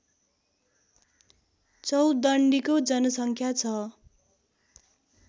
चौदण्डीको जनसङ्ख्या छ